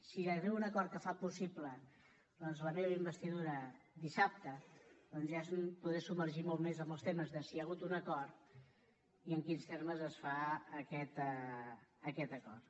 si arriba un acord que fa possible doncs la meva investidura dissabte ja em podré submergir molt més en els temes de si hi ha hagut un acord i en quins termes es fa aquest acord